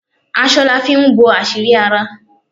Aṣọ la fi ń bo àṣírí ara